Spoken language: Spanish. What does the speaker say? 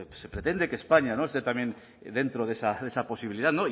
se pretende que españa esté también dentro de esa posibilidad